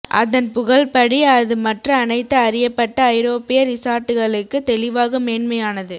அதன் புகழ் படி அது மற்ற அனைத்து அறியப்பட்ட ஐரோப்பிய ரிசார்ட்டுகளுக்கு தெளிவாக மேன்மையானது